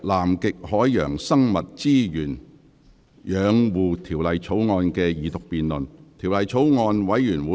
本會恢復《南極海洋生物資源養護條例草案》的二讀辯論。